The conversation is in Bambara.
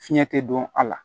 Fiɲɛ tɛ don a la